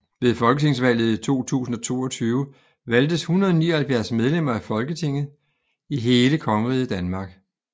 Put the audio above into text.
Ved Folketingsvalget 2022 valgtes 179 medlemmer af Folketinget i hele Kongeriget Danmark